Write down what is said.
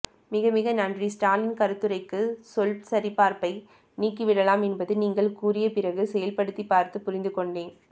மிக மிக நன்றி ஸ்டாலின் கருத்துரைக்கு சொல்சரிபார்ப்பை நீக்கி விடலாம் என்பது நீங்கள் கூறிய பிறகு செயல்படுத்தி பார்த்து புரிந்துகொண்டேன்